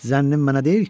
Zənnin mənə deyil.